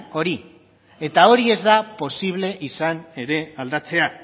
hori eta hori ez posible izan ere aldatzea